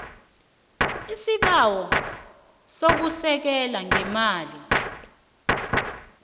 isibawo sokusekelwa ngeemali